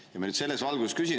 Ma nüüd selles valguses küsin.